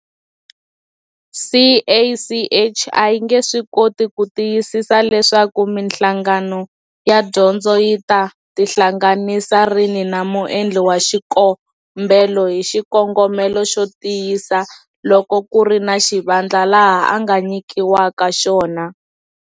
CACH a yi nge swi koti ku tiyisisi leswaku mihlangano ya dyondzo yi ta tihlanganisa rini na muendli wa xikombelo hi xikongomelo xo tiyisa loko ku ri na xivandla laha a nga nyikiwaka xona.